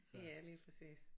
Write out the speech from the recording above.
Ja lige præcis